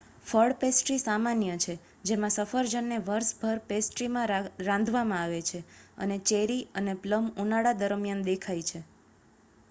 ફળપેસ્ટ્રી સામાન્ય છે જેમાં સફરજનને વર્ષભર પેસ્ટ્રીમાં રાંધવામાં આવે છે અને ચેરી અને પ્લમ ઉનાળા દરમિયાન દેખાય છે